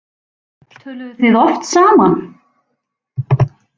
Töluðuð þið oft saman?